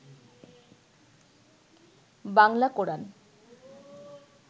Bangla Quran